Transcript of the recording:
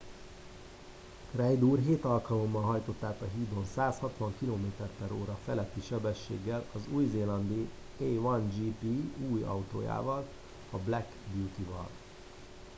reid úr hét alkalommal hajtott át a hídon 160 km/h feletti sebességgel az új zélandi a1gp új autójával a black beauty val